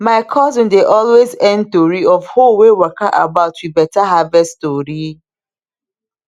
my cousin dey always end tori of hoe wey waka about with better harvest story